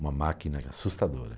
Uma máquina assustadora.